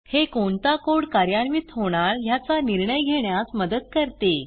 हे कोणता कोड कार्यान्वित होणार ह्याचा निर्णय घेण्यास मदत करते